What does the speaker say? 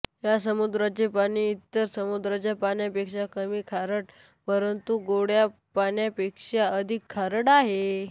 ह्या समुद्राचे पाणी इतर समुद्रांच्या पाण्यापेक्षा कमी खारट परंतू गोड्या पाण्यापेक्षा अधिक खारट आहे